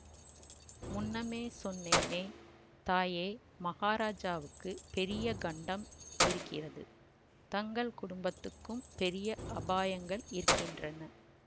முன்னமே சொன்னேனே தாயே மகாராஜாவுக்குப் பெரிய கண்டம் இருக்கிறது தங்கள் குடும்பத்துக்கும் பெரிய அபாயங்கள் இருக்கின்றன